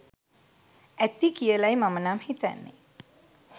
ඇති කියලයි මම නම් හිතන්නේ.